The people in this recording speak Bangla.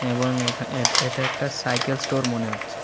এবং এখা এট এটা একটা সাইকেল স্টোর মনে হচ্ছে।